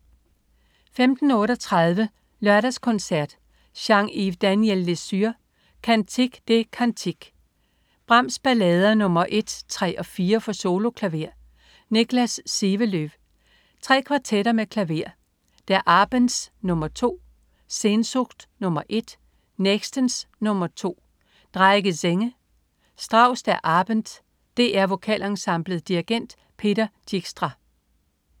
15.38 Lørdagskoncert. Jean Yves Daniel-Lesur: Cantique des cantiques. Brahms: Ballader nr. 1,3 og 4 for soloklaver. Niklas Sivelöv. Tre kvartetter med klaver. (Der Abends nr. 2, Sehnsucht, nr.1. Nächtens, nr.2). Drei gesänge. Strauss: Der Abend. DR Vokalensemblet. Dirigent: Peter Dijkstra